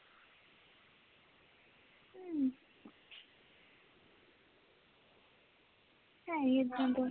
ਹੈ ਹੀ ਇੱਦਾਂ ਦਾ